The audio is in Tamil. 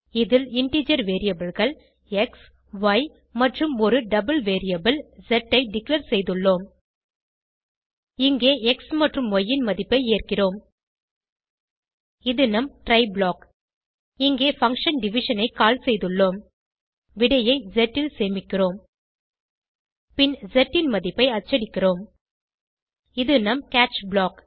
இதில் இன்டிஜர் variableகள் எக்ஸ் ய் மற்றும் ஒரு டபிள் வேரியபிள் ஸ் ஐ டிக்ளேர் செய்துள்ளோம் இங்கே எக்ஸ் மற்றும் ய் ன் மதிப்பை ஏற்கிறோம் இது நம் ட்ரை ப்ளாக் இங்கே பங்ஷன் டிவிஷன் ஐ கால் செய்துள்ளோம் விடையை ஸ் ல் சேமிக்கிறோம் பின் ஸ் ன் மதிப்பை அச்சடிக்கிறோம் இது நம் கேட்ச் ப்ளாக்